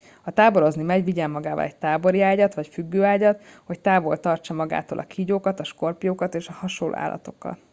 ha táborozni megy vigyen magával egy tábori ágyat vagy függőágyat hogy távol tarthassa magától a kígyókat skorpiókat és hasonló állatokat